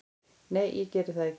Nei, ég geri það ekki